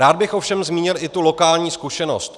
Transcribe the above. Rád bych ovšem zmínil i tu lokální zkušenost.